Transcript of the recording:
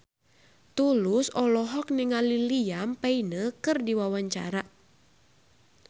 Tulus olohok ningali Liam Payne keur diwawancara